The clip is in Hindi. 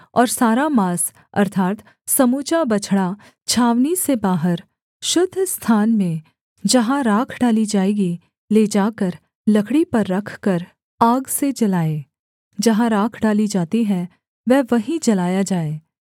और सारा माँस अर्थात् समूचा बछड़ा छावनी से बाहर शुद्ध स्थान में जहाँ राख डाली जाएगी ले जाकर लकड़ी पर रखकर आग से जलाए जहाँ राख डाली जाती है वह वहीं जलाया जाए